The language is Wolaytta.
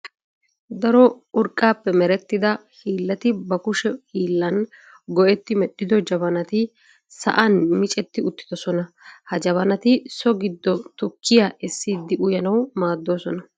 Daro urqqaappe merettida hiillati ba kushshe hiillan go"etti medhido jabaanati sa'an miccetti uttidoosona. Ha jabanati so giidon tukkiyaa essiidi uyanawu maaddoosona.